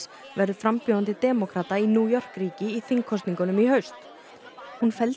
verður frambjóðandi demókrata í New York ríki í þingkosningunum í haust hún felldi